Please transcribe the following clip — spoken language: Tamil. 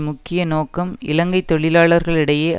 முக்கிய நோக்கம் இலங்கை தொழிலாளர்களிடையே